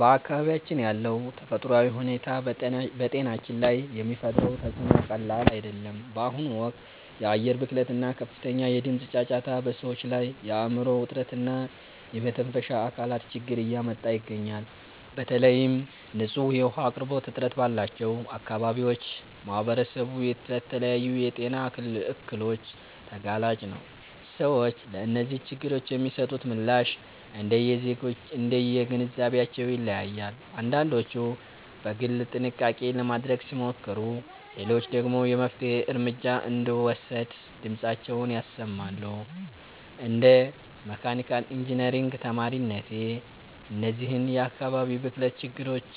በአካባቢያችን ያለው ተፈጥሯዊ ሁኔታ በጤናችን ላይ የሚፈጥረው ተፅዕኖ ቀላል አይደለም። በአሁኑ ወቅት የአየር ብክለት እና ከፍተኛ የድምፅ ጫጫታ በሰዎች ላይ የአእምሮ ውጥረት እና የመተንፈሻ አካላት ችግር እያመጣ ይገኛል። በተለይም ንጹህ የውኃ አቅርቦት እጥረት ባለባቸው አካባቢዎች ማኅበረሰቡ ለተለያዩ የጤና እክሎች ተጋላጭ ነው። ሰዎች ለእነዚህ ችግሮች የሚሰጡት ምላሽ እንደየግንዛቤያቸው ይለያያል፤ አንዳንዶች በግል ጥንቃቄ ለማድረግ ሲሞክሩ፣ ሌሎች ደግሞ የመፍትሔ እርምጃ እንዲወሰድ ድምፃቸውን ያሰማሉ። እንደ መካኒካል ኢንጂነሪንግ ተማሪነቴ፣ እነዚህን የአካባቢ ብክለት ችግሮች